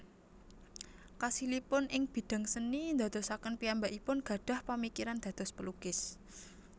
Kasilipun ing bidang seni ndadosaken piyambakipun gadhah pamikiran dados pelukis